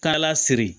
Taala siri